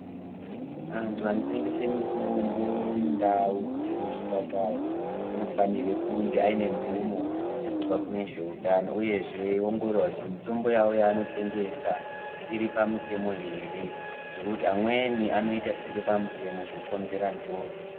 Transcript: Antu anotengese mitombo mundau dzisiri zvipatara anofanira kunge aine mvumo kubva kune zveutano uyezve eiongorora kuti mitombo yawo yaanotengesa iri pamutemo here ngekuti amweni anoita zvisiri pamutemo zvokonzera njodzi.